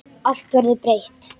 Allt verður breytt.